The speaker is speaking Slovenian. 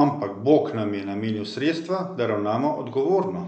'Ampak Bog nam je namenil sredstva, da ravnamo odgovorno.